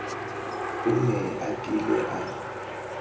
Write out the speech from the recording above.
o ne a kile a